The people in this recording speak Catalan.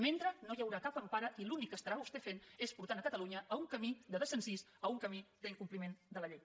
mentrestant no hi haurà cap empara i l’únic que estarà vostè fent és portar catalunya a un camí de desencís a un camí d’incompliment de la llei